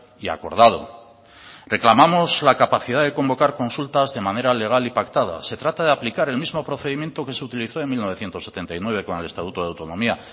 y acordado reclamamos la capacidad de convocar consultas de manera legal y pactada se trata de aplicar el mismo procedimiento que se utilizó en mil novecientos setenta y nueve con el estatuto de autonomía